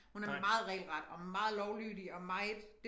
Hun er meget regelret og meget lovlydig og meget